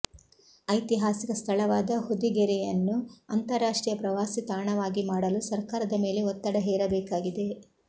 ಐತಿಹಾಸಿಕ ಸ್ಥಳವಾದ ಹೊದಿಗೆರೆಯನ್ನು ಅಂತಾರಾಷ್ಟ್ರೀಯ ಪ್ರವಾಸಿ ತಾಣವಾಗಿ ಮಾಡಲು ಸರ್ಕಾರದ ಮೇಲೆ ಒತ್ತಡ ಹೇರಬೇಕಾಗಿದೆ